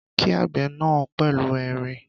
Kí àgbẹ̀ náà pẹ̀lú ẹ̀rín